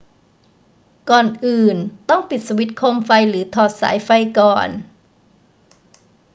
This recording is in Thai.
ก่อนอื่น ต้องปิดสวิตช์โคมไฟหรือถอดสายไฟก่อน